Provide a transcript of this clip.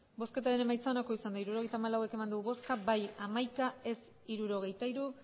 hirurogeita hamalau eman dugu bozka hamaika bai hirurogeita hiru